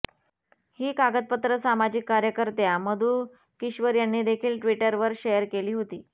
ही कागदपत्र सामाजिक कार्यकर्त्या मधू किश्वर यांनी देखील ट्विटरवर शेअर केली होती